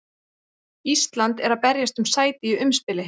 Ísland er að berjast um sæti í umspili.